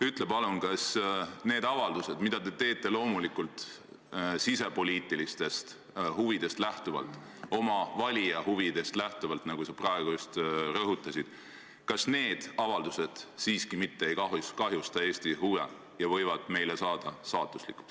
Ütle palun, kas need avaldused, mida te teete – loomulikult sisepoliitilistest huvidest ja oma valija huvidest lähtudes, nagu sa just praegu rõhutasid –, mitte ei kahjusta siiski Eesti huve ega või saada meile saatuslikuks.